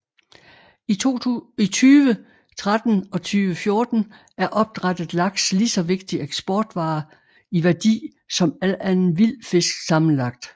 I 2013 og 2014 er opdrættet laks lige så vigtig eksportvare i værdi som al anden vild fisk sammenlagt